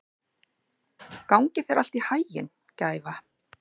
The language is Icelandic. Gangi þér allt í haginn, Gæfa.